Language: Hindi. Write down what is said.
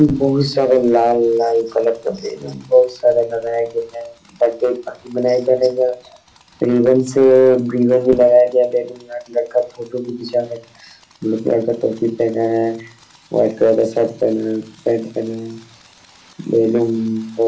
बहुत सारा लाल - लाल कलर का बैलून बहुत सारा लगाया गया है बर्थडे पार्टी मनाई जा रही है रिबन से रिबन भी लगाया गया है लड़का फोटो भी खींचा रहा है टोपी पहना है लड़का का शर्ट पहना है पेंट पहना है।